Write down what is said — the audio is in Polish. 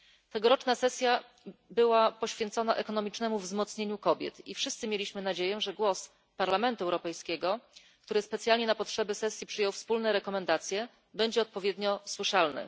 Tegoroczna sesja była poświęcona ekonomicznemu wzmocnieniu kobiet i wszyscy mieliśmy nadzieję, że głos Parlamentu Europejskiego, który specjalnie na potrzeby sesji przyjął wspólne rekomendacje, będzie odpowiednio słyszalny.